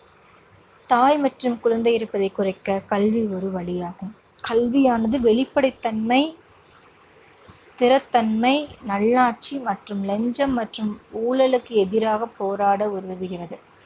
தாய் மற்றும் குழந்தை இறப்பதை குறைக்க கல்வி ஒரு வழியாகும். கல்வியானது வெளிப்படைத்தன்மை திறத்தன்மை, நல்லாட்சி மற்றும் லஞ்சம் மற்றும் ஊழலுக்கு எதிராகப் போராட உதவுகிறது.